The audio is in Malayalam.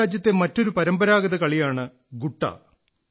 നമ്മുടെ രാജ്യത്തെ മറ്റൊരു പരമ്പരാഗത കളിയാണ് ഗുട്ടാ